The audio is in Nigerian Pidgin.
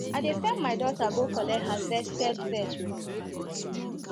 i dey send my daughter go collect harvested veg from backyard